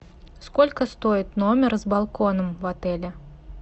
сколько стоит номер с балконом в отеле